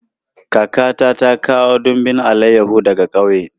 Kakata ta kawo dumbin alayahu daga ƙauye.